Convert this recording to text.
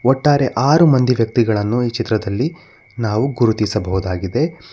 ಒಟ್ಟಾರೆ ಆರು ಮಂದಿ ವ್ಯಕ್ತಿಗಳನ್ನು ಈ ಚಿತ್ರದಲ್ಲಿ ನಾವು ಗುರುತಿಸಬಹುದಾಗಿದೆ.